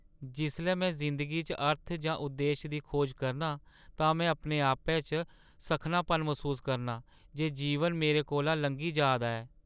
जिसलै में जिंदगी च अर्थ जां उद्देश दी खोज करनां तां में अपने आपै च सक्खनापन मसूस करनां जे जीवन मेरे कोला लंघी जा दा ऐ।